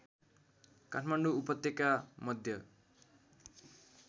काठमाडौँ उपत्यका मध्य